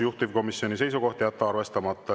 Juhtivkomisjoni seisukoht on jätta arvestamata.